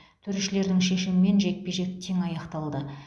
төрешілердің шешімімен жекпе жек тең аяқталды